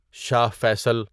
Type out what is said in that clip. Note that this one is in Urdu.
شاہ فیصل